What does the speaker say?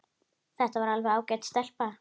Þetta er alveg ágæt stelpa.